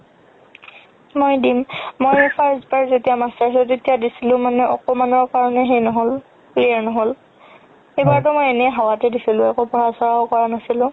মই দিম তেতিয়া দিছিলো মানে অকমানৰ কাৰণে সেই নহ'ল clear নহ'ল এইবাৰটো মই এনে হাৱাতে দিছিলো একো পঢ়া চঢ়াও কৰা নাছিলো